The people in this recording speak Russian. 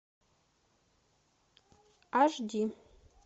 аш ди